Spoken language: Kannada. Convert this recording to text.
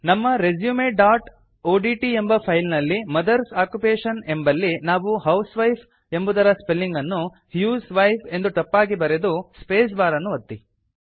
ನಮ್ಮ resumeಒಡಿಟಿ ಎಂಬ ಫೈಲ್ ನಲ್ಲಿ ಮದರ್ಸ್ ಆಕ್ಯುಪೇಷನ್ ಎಂಬಲ್ಲಿ ನಾವು ಹೌಸ್ವೈಫ್ ಎಂಬುದರ ಸ್ಪೆಲಿಂಗ್ ಅನ್ನು ಹ್ಯೂಸ್ವೈಫ್ ಎಂದು ತಪ್ಪಾಗಿ ಬರೆದು ಸ್ಪೇಸ್ ಬಾರ್ ಅನ್ನು ಒತ್ತಿ